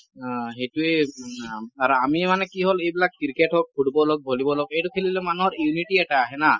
অ সেইটোৱেই আৰু আমিও মানে কি হল এইবিলাক ক্ৰিকেট হওঁক football হওঁক ভলীবল হওঁক , এইটো খেলিলে মানুহৰ unity এটা আহে ন